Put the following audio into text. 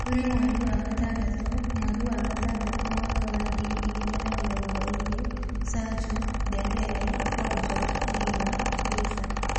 Kũrĩ mweri wa gatandatũ, mweri wa gatandatũ, mwaka wa ngiri igĩrĩ na mĩrongo ĩrĩ: Sancho, Dembele, Rojo, Neymar, Fraser